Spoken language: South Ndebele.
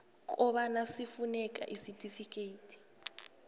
kobana sifuneke isitifikedi